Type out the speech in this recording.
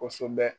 Kosɛbɛ